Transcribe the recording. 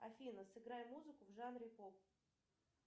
афина сыграй музыку в жанре поп